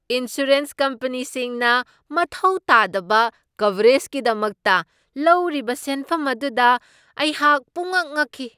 Insurance ꯀꯝꯄꯅꯤꯁꯤꯡꯅ ꯃꯊꯧ ꯇꯥꯗꯕ ꯀꯕꯔꯦꯖꯒꯤꯗꯃꯛꯇ ꯂꯧꯔꯤꯕ ꯁꯦꯟꯐꯝ ꯑꯗꯨꯗ ꯑꯩꯍꯥꯛ ꯄꯨꯡꯉꯛ ꯉꯛꯈꯤ ꯫